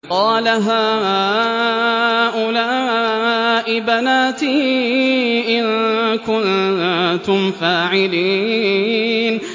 قَالَ هَٰؤُلَاءِ بَنَاتِي إِن كُنتُمْ فَاعِلِينَ